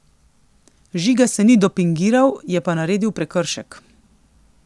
Žiga se ni dopingiral, je pa naredil prekršek.